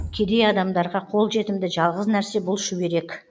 кедей адамдарға қол жетімді жалғыз нәрсе бұл шүберек